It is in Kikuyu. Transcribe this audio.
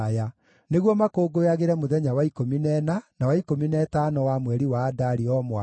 nĩguo makũngũyagĩre mũthenya wa ikũmi na ĩna, na wa ikũmi na ĩtano wa mweri wa Adari o mwaka,